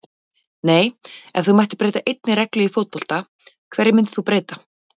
nei Ef þú mættir breyta einni reglu í fótbolta, hverju myndir þú breyta?